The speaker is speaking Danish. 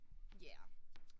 Ja